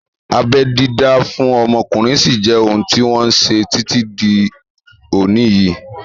Abẹ́ dídá fún ọmọkùnrin sí jẹ́ ohun tí wọ́n ṣe títí di òní yìí